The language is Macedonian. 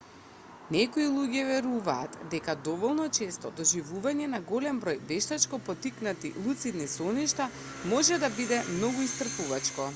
некои луѓе веруваат дека доволно честото доживување на голем број вештачко поттикнати луцидни соништа може да биде многу исцрпувачко